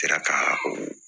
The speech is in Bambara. Sera ka o